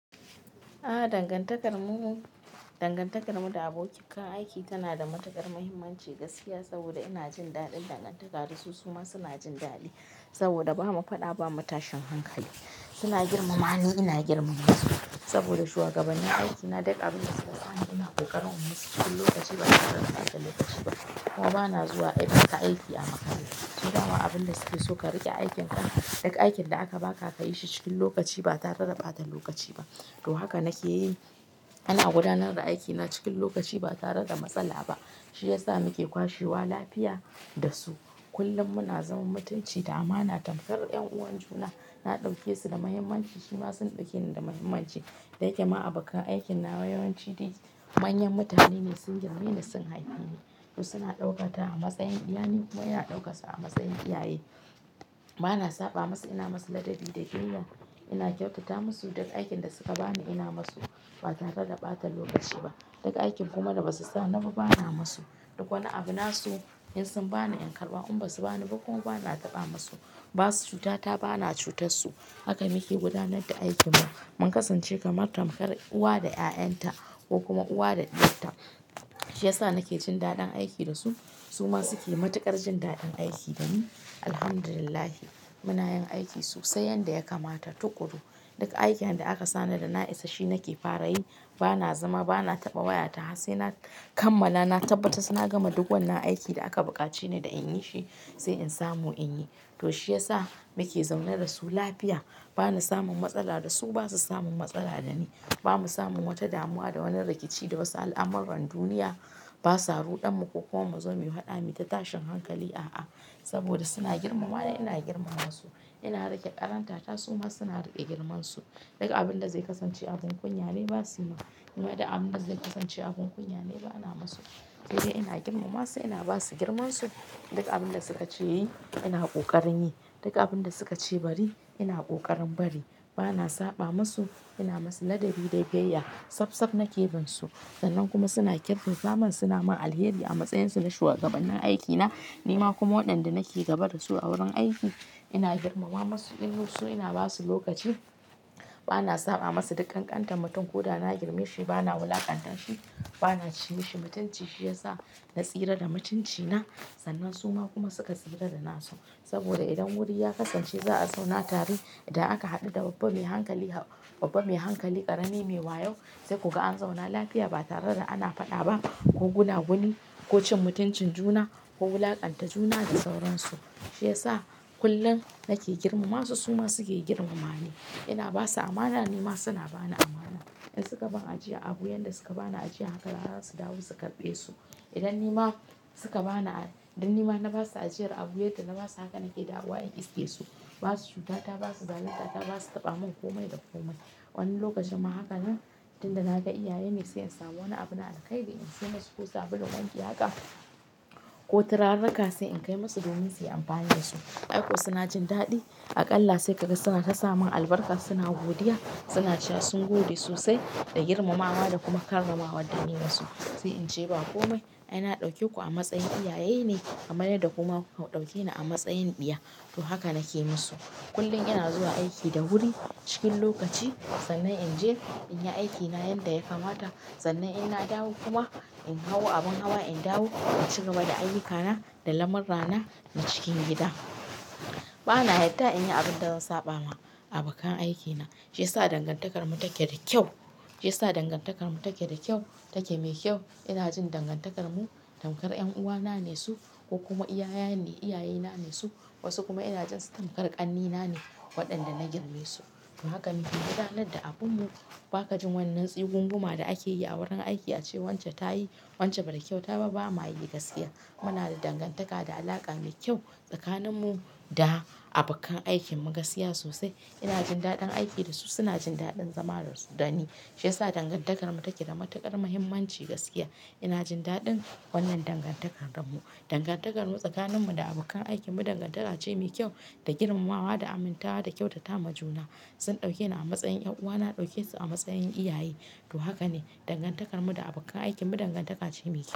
Ah dangantakarmu da abokan aiki tana da matukar muhimmanci gaskiya saboda ina jin daɗin dangantakarsu su ma suna jin daɗi saboda ba mu faɗa ba, ba mu tashin hankali. Suna girmama ni, ina girmama su saboda shugabannin aikina duk abin da suka sani, ina ƙoƙarin in musu cikin lokaci ba tare da ɓata lokaci ba. Kuma ba na zuwa aikata aiki a makare. To daman abin da suke so ka riƙe aikin ka, duk aikin da aka ba ka, ka yi shi cikin lokaci ba tare da ɓata lokaci ba. To haka nake yi, ana gudanar da aikina cikin lokaci ba tare da matsala ba, shi ya sa nake kwashe wa lafiya da su. Kullum muna zaman mutunci da amana tamkar 'yan uwan juna. Na ɗauke su da muhimmanci, suma sun ɗauke ni da muhimmanci. Da yake ma abokan aikin nawa yawanci manyan mutane ne sun girme ni, sun haife ni. To suna ɗauka ta a matsayin ɗiya ni kuma ina ɗauke su a matsayin iyaye. Ba na saɓa musu, ina musu ladabi da biyayya. Ina kyautata musu duk aikin da suka bani ina musu ba tare da ɓata lokaci ba. Duk aikin kuma da basu sa ni ba, bana musu. Duk wani abu na su in sun bani in karɓa in ba su bani ba kuma bana taɓa musu. Ba su cuta ta, bana cutar su. Haka nake gudanar da aikin mu. Mun kasance kamar tamkar uwa da ƴa'ƴan ta ko kuma uwa da ɗiyar ta. Shi ya sa nake jin daɗin aiki da su, su ma suke matuƙar jin daɗin aiki da ni. Alhamdulillah muna yin aiki sosai yanda ya kamata tukuru. Duk aikinda aka sani da na isa shi nake fara yi. Bana zama, bana taɓa wayata har sai na kammala, na tabbata suna gama duk wannan aikin da aka bukace ni da in yi shi sai in samu in yi. To shi ya sa muke zaune da su lafiya. Bana samun matsala da su, ba su samun matsala da ni. Ba mu samun wata damuwa da wani rikici da wasu al'amuran duniya. Ba su ruɗan mu ko kuma mu zo muyi faɗa muyi ta tashin hankali. A'a, saboda suna girmama ni, ina girmama su. Ina riƙe ƙaranta ta su ma suna riƙe girmansu. Duk abin da zai kasance abin kunya ne ba su yimin. Duk abin da zai kasance abin kunya ne bana musu. Sai dai ina girmama su, ina ba su girmansu. Duk abin da suka ce yin ina ƙoƙarin yi. Duk abin da suka ce bari ina ƙoƙarin bari. Bana saɓa musu, ina musu ladabi da biyayya. Tsaf nake bin su. Sannan kuma suna kirkinta min suna min alheri a matsayin su na shugabannin aikina. Ni ma kuma waɗanda nake gabar da su a wurin aiki ina girmama musu. Kullun su ina ba su lokaci. Bana saɓa musu dukkan ƙantar mutum ko da na girme shi bana wulakantar shi. Bana ci shi mutunci shi ya sa na tsira da mutunci na. Sannan su ma kuma suka tsira da na su saboda idan wuri ya kasance za a zauna tare. Idan aka haɗu da babba mai hankali, ƙarami mai wayo sai kuka an zauna lafiya ba tare da ana faɗa ba ko gunaguni ko cin mutuncin juna ko wulakanta juna da sauransu. Shi ya sa kullum nake girmama su su ma suke girmama ni. Ina ba su amana ni ma suna bani amana. In suka bani ajiya abu, yanda suka bani ajiya haka rana su dawo su karɓe su. Idan ni ma na ba su ajiya abu yadda na ba su haka nake dawowa in iske su. Ba su cuta ta, ba su zalunta ta, ba su taɓa mun komai da komai. Wani lokacin ma haka nan tin da na ga iyaye ne sai in samu wani abu na alƙaida in saye masu ko sabulun wanki haka ko turarraka sai in kai musu domin su yi amfani da su. Aiko suna jin daɗi. Aƙalla sai ka ga suna ta samin albarka suna godiya, suna cewa sun gode sosai da girmamawa da kuma karramawa da niyi masu. Sai in ce ba komai, ai na ɗauke ku a matsayin iyaye ne kamar yarda kuma ku ka ɗauke ni a matsayin ɗiya. To haka nake musu. Kullum ina zuwa aiki da wuri cikin lokaci sannan in je in yi aikina yanda ya kamata. Sannan ina dawo kuma in hau abin hawa, in dawo in ci gaba da ayyukana da lamurrana na cikin gida. Bana yarda in yi abin da zan saɓa ma abokan aikina. Shi ya sa dangantakarmu take da kyau. Shi ya sa dangantakarmu take da kyau, take mai kyau. Ina jin dangantakarmu tamkar 'yan uwana ne su ko kuma iyaye na ne su. Wasu kuma ina jin su tamkar ƙannena ne waɗanda na girme su. To haka nake gudanar da abunmu. Ba ka jin wannan tsugun guma da ake yi a wurin aiki a ce wance ta yi, wance ba ta kyauta ba, ba ma yayi gaskiya. Muna da dangantaka da alaƙa mai kyau tsakanin mu da abokan aikinmu gaskiya sosai. Ina jin daɗin aiki da su, suna jin daɗin zama da ni. Shi ya sa dangantakarmu take da matuƙar muhimmanci gaskiya. Ina jin daɗin wannan dangantakarmu. Dangantakarmu tsakaninmu da abokan aikinmu dangantaka ce mai kyau da girmamawa da aminta da kyautata ma juna. Sun ɗauke ni a matsayin 'yan uwana, na ɗauke su a matsayin iyaye. To haka ne dangantakarmu da abokan aikinmu dangantaka ce mai kyau.